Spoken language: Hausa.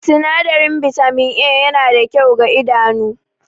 Sinadarin Bitamin A yana da kyau ga idanu